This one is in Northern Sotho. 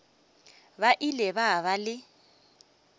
ba ile ba ba le